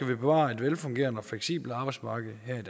bevare et velfungerende og fleksibelt arbejdsmarked her i